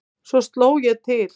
Svo sló ég til.